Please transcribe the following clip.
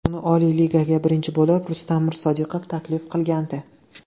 Uni Oliy Ligaga birinchi bo‘lib Rustam Mirsodiqov taklif qilgandi.